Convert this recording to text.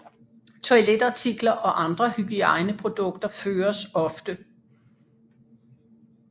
Toiletartikler og andre hygiejneprodukter føres ofte